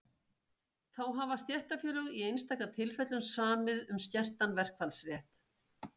þá hafa stéttarfélög í einstaka tilfellum samið um skertan verkfallsrétt